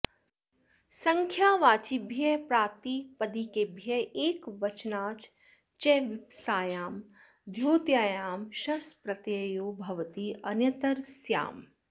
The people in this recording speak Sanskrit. सङ्ख्यावाचिभ्यः प्रातिपदिकेभ्यः एकवचनाच् च वीप्सायां द्योत्यायां शस्प्रत्ययो भवति अन्यतरस्याम्